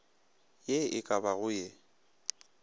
ye e ka bago ye